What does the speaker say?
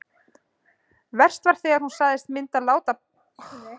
Verst var þegar hún sagðist myndu láta pabba tala við mig.